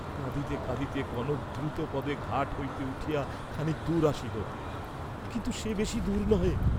কাঁদিতে কাঁদিতে কনক দ্রুতপদে ঘাট হইতে উঠিয়া খানিক দূর আসিল, কিন্তু সে বেশী দূর নহে।